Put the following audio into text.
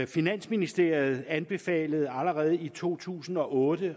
finansministeriet anbefalede allerede i to tusind og otte